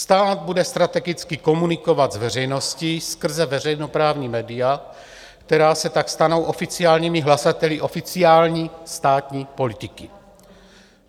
Stát bude strategicky komunikovat s veřejností skrze veřejněprávní média, která se tak stanou oficiálními hlasateli oficiální státní politiky.